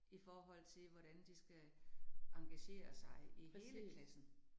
I forhold til, hvordan de skal engagere sig i hele klassen